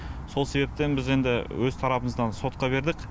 сол себептен біз енді өз тарапымыздан сотқа бердік